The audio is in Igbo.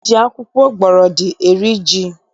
E ji akwụkwọ gbọrọdị eri ji